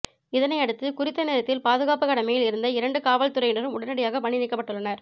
இதனையடுத்து குறித்த நேரத்தில் பாதுகாப்புக் கடமையில் இருந்த இரண்டு காவல்துறையினரும் உடனடியாக பணி நீக்கப்பட்டுள்ளனர்